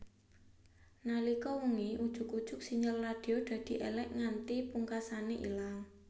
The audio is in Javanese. Nalika wengi ujug ujug sinyal radio dadi èlèk nganti pungkasané ilang